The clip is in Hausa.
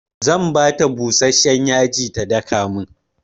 Zan bata busashshen yaji ta daka min.